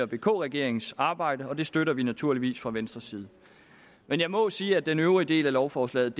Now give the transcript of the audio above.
vk regeringens arbejde og det støtter vi naturligvis fra venstres side men jeg må sige at den øvrige del af lovforslaget